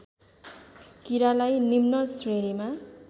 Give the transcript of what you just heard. कीरालाई निम्न श्रेणीमा